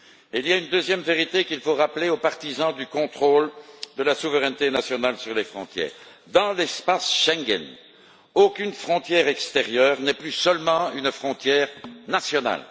Il y a une deuxième vérité qu'il faut rappeler aux partisans du contrôle et de la souveraineté nationale sur les frontières dans l'espace Schengen, une frontière extérieure n'est plus seulement une frontière nationale.